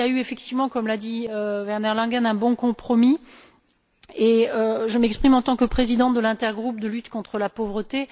Je crois qu'il y a effectivement eu, comme l'a dit Werner Langen, un bon compromis et je m'exprime en tant que présidente de l'intergroupe de lutte contre la pauvreté.